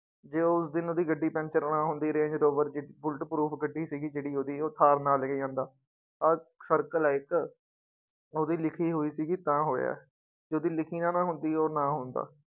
ਜੇ ਉਸ ਦਿਨ ਉਹਦੀ ਗੱਡੀ ਪੈਂਚਰ ਨਾ ਹੁੰਦੀ ਰੇਂਜ ਰੋਵਰ ਜਿ bullet proof ਗੱਡੀ ਸੀਗੀ ਜਿਹੜੀ ਉਹਦੀ, ਉਹ ਥਾਰ ਨਾ ਲੈ ਕੇ ਜਾਂਦਾ ਆਹ circle ਆ ਇੱਕ, ਉਹਦੀ ਲਿਖੀ ਹੋਈ ਸੀਗੀ ਤਾਂ ਹੋਇਆ ਹੈ ਜੇ ਉਹਦੀ ਲਿਖੀ ਨਾ ਨਾ ਹੁੰਦੀ ਉਹ ਨਾ ਹੁੰਦਾ।